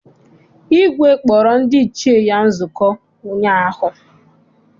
Igwe kpọrọ ndị Ichie ya nzukọ ụnyaahụ.